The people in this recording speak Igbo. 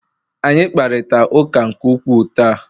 Anyị kparịta ụka nke ukwuu taa